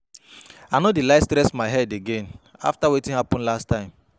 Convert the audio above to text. I no dey like stress my head again after wetin happen last time